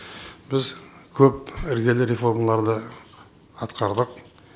біз көп іргелі реформаларды атқардық